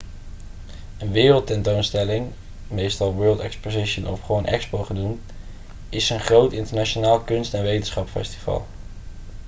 een wereldtentoonstelling meestal world exposition of gewoon expo genoemd is een groot internationaal kunst- en wetenschapsfestival